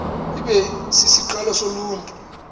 ibe sisiqalo soluntu